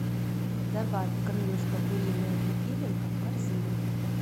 добавь крылышко куриное петелинка в корзину